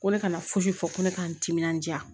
Ko ne kana fosi fɔ ko ne k'an timinandiya